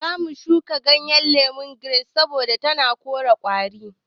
Zamu shuka ciyawar lemon giras saboda tana korar ƙwari